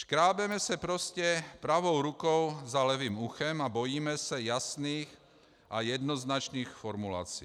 Škrábeme se prostě pravou rukou za levým uchem a bojíme se jasných a jednoznačných formulací.